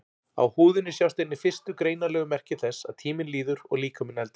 Á húðinni sjást einnig fyrstu greinanlegu merki þess að tíminn líður og líkaminn eldist.